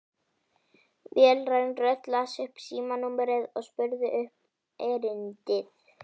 Vélræn rödd las upp símanúmerið og spurði um erindið.